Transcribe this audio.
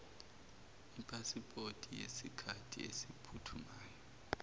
ipasipoti yesikhathi esiphuthumayo